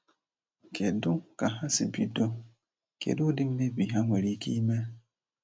Kedu ka ha si bido? Kedu udi mmebi ha nwere ike ime?